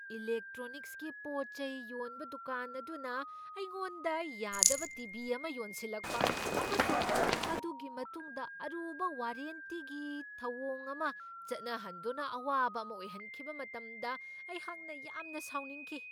ꯏꯂꯦꯛꯇ꯭ꯔꯣꯅꯤꯛꯁꯀꯤ ꯄꯣꯠ ꯆꯩ ꯌꯣꯟꯕ ꯗꯨꯀꯥꯟ ꯑꯗꯨꯅ ꯑꯩꯉꯣꯟꯗ ꯌꯥꯗꯕ ꯇꯤ.ꯚꯤ. ꯑꯃ ꯌꯣꯟꯁꯤꯜꯂꯛꯄ ꯑꯃꯁꯨꯡ ꯃꯗꯨꯒꯤ ꯃꯇꯨꯡꯗ ꯑꯔꯨꯕ ꯋꯥꯔꯦꯟꯇꯤꯒꯤ ꯊꯧꯑꯣꯡ ꯑꯃ ꯆꯠꯅꯍꯟꯗꯨꯅ ꯑꯋꯥꯕ ꯑꯃ ꯑꯣꯏꯍꯟꯈꯤꯕ ꯃꯇꯝꯗ ꯑꯩꯍꯥꯛꯅ ꯌꯥꯝꯅ ꯁꯥꯎꯅꯤꯡꯈꯤ꯫